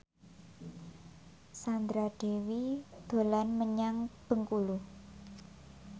Sandra Dewi dolan menyang Bengkulu